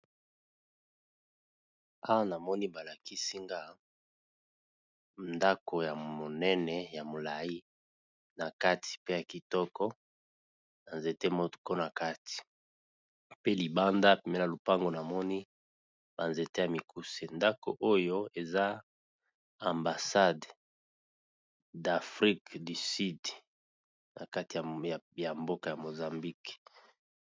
Awa namoni balakisi nga ndako ya monene ya molai na kati pe ya kitoko na nzete moko na kati pe libanda pene na lopango namoni ba nzete ya mikuse ndako oyo eza ambassade d'afrik du sude na kati ya mboka ya mozambike.